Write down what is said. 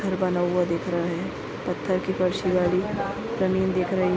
घर बना हुआ दिख रहा है पत्थर की फर्श लगी जमीं दिख रही--